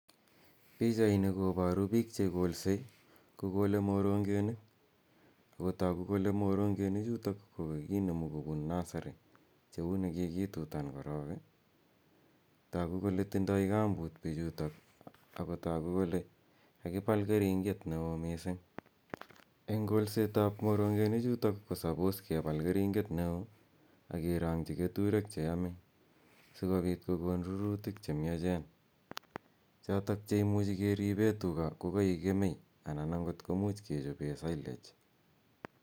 Pichaini koboru pik chekolsei, kokolei morongenik. Akotogu ko morongenichutok ko kakinemu kopun nusery cheuni kikitutan korok. Togu kole tindoi kamput pichutok ak kotogu kole kakipal kering'et neo mising. Eng kolsetap moronhenichutok, ko suppose kepal keringet neo ak kerong'chi keturek cheyomei sikopit kokon rurutik chemiachen. chotok chekemuchi keripe tuga kokaek kemei anan angot kemuch kechibe sillage.